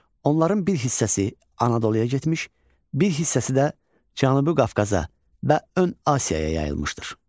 Onların bir hissəsi Anadoluya getmiş, bir hissəsi də Cənubi Qafqaza və ön Asiyaya yayılmışdır.